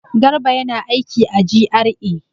Garba yana aiki a GRA.